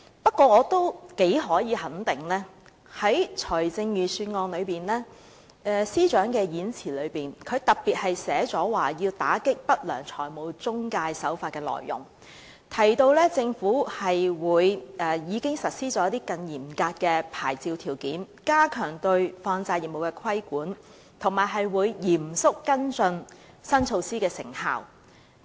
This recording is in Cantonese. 不過，司長在預算案演辭中特別提到要打擊不良財務中介，又提到政府已經實施更嚴格的牌照條件，加強對放債業務的規管，以及會嚴肅跟進新措施的成效。